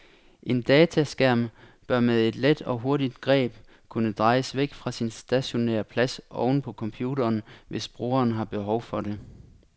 En dataskærm bør med et let og hurtigt greb kunne drejes væk fra sin stationære plads oven på computeren, hvis brugeren har behov for det.